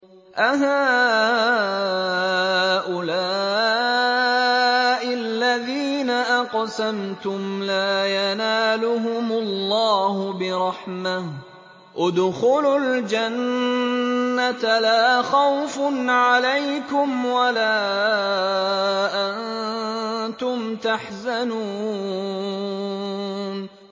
أَهَٰؤُلَاءِ الَّذِينَ أَقْسَمْتُمْ لَا يَنَالُهُمُ اللَّهُ بِرَحْمَةٍ ۚ ادْخُلُوا الْجَنَّةَ لَا خَوْفٌ عَلَيْكُمْ وَلَا أَنتُمْ تَحْزَنُونَ